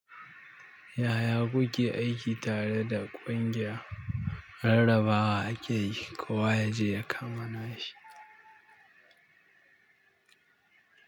Yaya kuke aiki tare da ƙungiya rarrabawa ake kowa yaje ya kama.